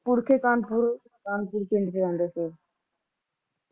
ਪਿੰਡ ਪਿੰਡ ਦੇ ਰਹਿੰਦੇ ਸੀ